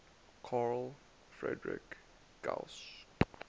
carl friedrich gauss